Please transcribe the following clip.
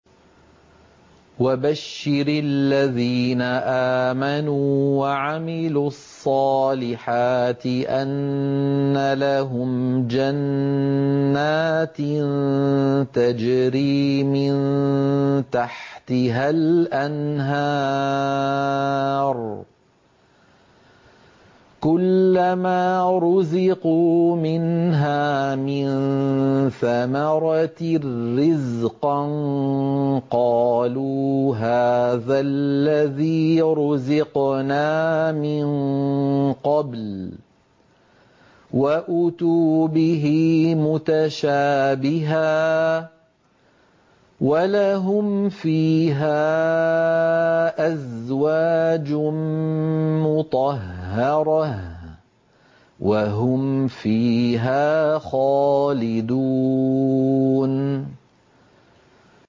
وَبَشِّرِ الَّذِينَ آمَنُوا وَعَمِلُوا الصَّالِحَاتِ أَنَّ لَهُمْ جَنَّاتٍ تَجْرِي مِن تَحْتِهَا الْأَنْهَارُ ۖ كُلَّمَا رُزِقُوا مِنْهَا مِن ثَمَرَةٍ رِّزْقًا ۙ قَالُوا هَٰذَا الَّذِي رُزِقْنَا مِن قَبْلُ ۖ وَأُتُوا بِهِ مُتَشَابِهًا ۖ وَلَهُمْ فِيهَا أَزْوَاجٌ مُّطَهَّرَةٌ ۖ وَهُمْ فِيهَا خَالِدُونَ